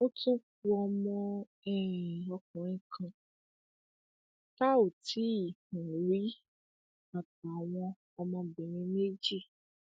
ó tún ku ọmọ um ọkùnrin kan tá ò tí um ì rí àtàwọn ọmọbìnrin méjì